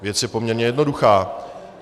Věc je poměrně jednoduchá.